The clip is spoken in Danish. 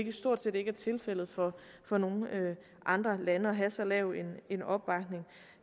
er stort set ikke tilfældet for for nogen andre lande at have så lav en opbakning